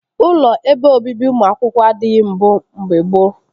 Ụlọ ebe obibi ụmụ akwụkwọ adịghị mbụ mgbe gboo